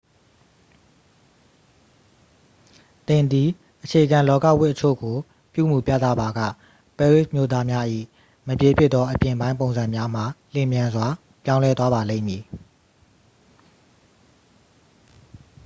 သင်သည် အခြေခံလောကဝတ်အချို့ကို ပြုမူပြသပါက ပဲရစ်မြို့သားများ၏မပြေပြစ်သောအပြင်ပိုင်းပုံစံများမှာ လျင်မြန်စွာပြောင်းလဲသွားပါလိမ့်မည်